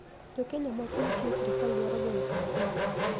Jo Keniya moko ma tiyo e sirkal dwaro goyo kampeni